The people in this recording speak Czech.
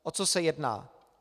O co se jedná?